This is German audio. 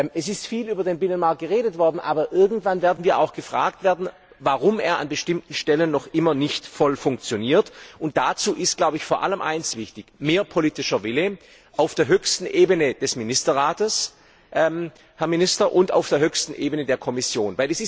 Es ist viel über den Binnenmarkt geredet worden, aber irgendwann werden wir auch gefragt werden, warum er an bestimmten Stellen noch immer nicht voll funktioniert. Und dazu ist vor allem eines wichtig mehr politischer Wille auf der höchsten Ebene des Ministerrats, Herr Minister, und auf der höchsten Ebene der Kommission!